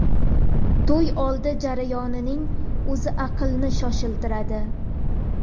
To‘y oldi jarayonining o‘zi aqlni shoshiradi.